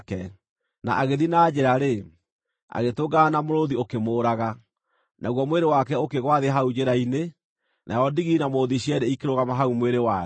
Na agĩthiĩ na njĩra-rĩ, agĩtũngana na mũrũũthi ũkĩmũũraga, naguo mwĩrĩ wake ũkĩgũa thĩ hau njĩra-inĩ, nayo ndigiri na mũrũũthi cierĩ ikĩrũgama hau mwĩrĩ warĩ.